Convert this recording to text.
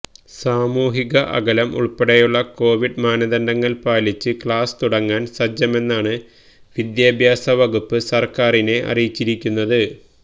സാമൂഹിക അകലം ഉള്പ്പെടെയുള്ള കോവിഡ് മാനദണ്ഡങ്ങള് പാലിച്ച് ക്ലാസ് തുടങ്ങാന് സജ്ജമെന്നാണ് വിദ്യാഭ്യാസ വകുപ്പ് സര്ക്കാരിനെ അറിയിച്ചിരിക്കുന്നത്